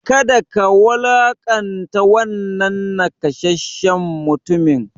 Kada ka wulaƙanta wannan nakasasshen mutumin!